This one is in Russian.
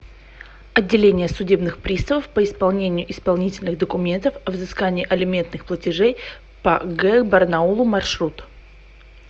отделение судебных приставов по исполнению исполнительных документов о взыскании алиментных платежей по г барнаулу маршрут